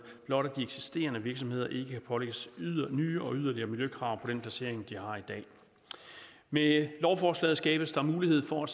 blot at de eksisterende virksomheder ikke pålægges nye og yderligere miljøkrav på den placering de har i dag med lovforslaget skabes der mulighed for